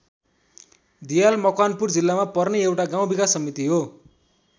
धियाल मकवानपुर जिल्लामा पर्ने एउटा गाउँ विकास समिति हो।